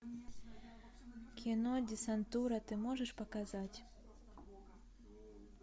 кино десантура ты можешь показать